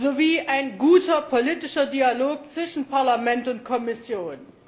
sowie ein guter politischer Dialog zwischen Parlament und Kommission.